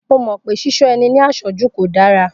Mo mọ̀ pé Ṣíṣọ́ ẹni ní àṣọ́jù kò dára